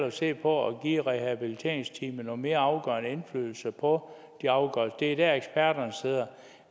at se på at give rehabiliteringsteamet en mere afgørende indflydelse på de afgørelser det er der eksperterne sidder